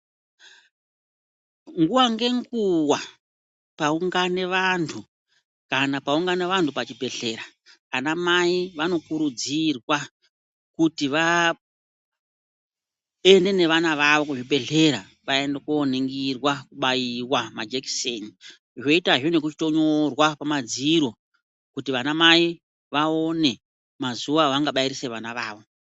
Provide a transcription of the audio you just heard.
Nguwa nenguwa paungane vantu kana paungana vantu pachibhedhlera vana mai vanokurudzirwa kuti vaende nevana vavo muzvibhedhlera vaende kooningirwa kubaiwa ngemajekiseni zvoitazve ngekutonyorwa kwemadziro kuti vana mai vaone mazuwa avangabairisa vana vavo.